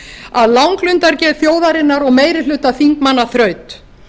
að langlundargeð þjóðarinnar og meiri hluta þingmanna þraut